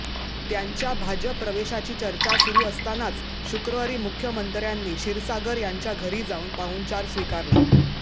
त्यांच्या भाजप प्रवेशाची चर्चा सुरू असतानाच शुक्रवारी मुख्यमंत्र्यांनी क्षीरसागर यांच्या घरी जाऊन पाहुणचार स्वीकारला